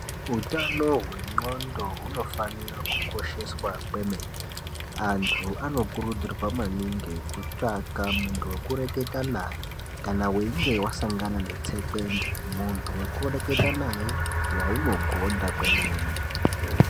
Utano wenqondo hunofanira kukosheswa kwemene .Antu vanokurudzirwa maningi kutsvaga munhu wekureketa naye kana weinge wasanga netsekwende. Muntu wekureketa naye waunogonda kwemene.